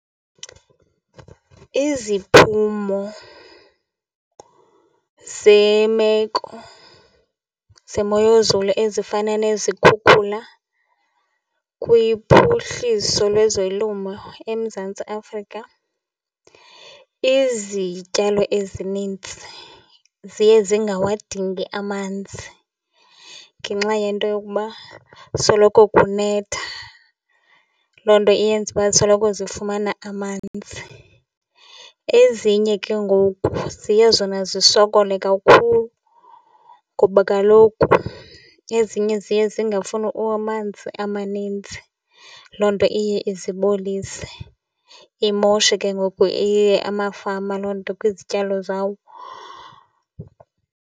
Iziphumo zemeko zemoyezulu ezifana nezikhukhula kwiphuhliso lwezolimo eMzantsi Afrika, izityalo ezininzi ziye zingawadingi amanzi ngenxa yento yokuba soloko kunetha. Loo nto iyenza uba zisoloko zifumana amanzi. Ezinye ke ngoku ziye zona zisokole kakhulu ngoba kaloku ezinye ziye zingafuni amanzi amaninzi, loo nto iye izibolise, imoshe ke ngoku amafama loo nto kwizityalo zawo.